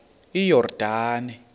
iyordane